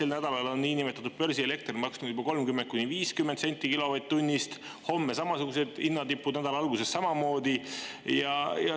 Sel nädalal on niinimetatud börsielekter maksnud juba 30–50 senti kilovatt-tunnist, homme on samasugused hinnatipud ja nädala alguses samamoodi.